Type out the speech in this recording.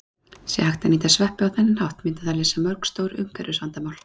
Sé hægt að nýta sveppi á þennan hátt myndi það leysa mörg stór umhverfisvandamál.